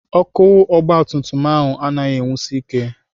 Ọkụ ọgbatumtum ahụ anaghị enwusi ike.